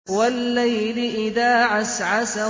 وَاللَّيْلِ إِذَا عَسْعَسَ